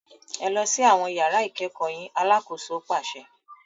Ẹ lọ si awọn yàrà ikẹkọ yín! Alàkóso paṣẹ